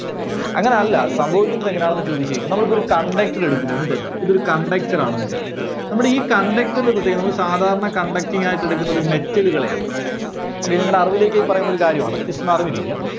അങ്ങനെ അല്ല സംഭിവിക്കുന്നത് എങ്ങനെയാന്നെന്ന് ചോദിച്ചു കഴിഞ്ഞാൽ നമ്മളിപ്പോ ഒരു conductor എടുക്കുന്നു എന്ന് കരുതുക. ഇതൊരു conductor ആണെന്ന് കരുതുക. നമ്മുടെ ഈ conductor ന്റെ പ്രതേകത നമ്മള് സാധാരണ conducting ആയിട്ട് എടുക്കുന്നത് metal കളെയാണ്. അത് നിങ്ങളുടെ അറിവിലേക്കായി പറയുന്ന ഒരു കാര്യമാണ് just ഒന്ന് അറിഞ്ഞിരിക്കുക.